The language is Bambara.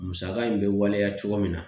Musaka in bɛ waleya cogo min na